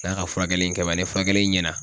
N'a ka furakɛli in kɛ man , ni furakɛli in ɲɛna